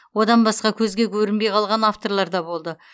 одан басқа көзге көрінбей қалған авторлар да болды